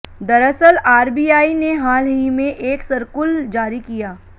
दरअसल आरबीआई ने हाल ही में एक सर्कुल जारी किया